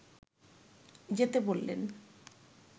যেতে বললেন